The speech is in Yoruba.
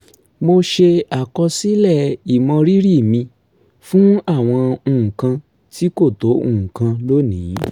mo ṣe àkọsílẹ̀ ìmọrírì mi fún àwọn nǹkan tí kò tó nǹkan lónìí